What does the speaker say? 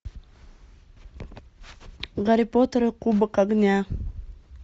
гарри поттер и кубок огня